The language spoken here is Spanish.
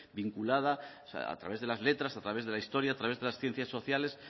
vinculada a través de las letras a través de la historia a través de las ciencias sociales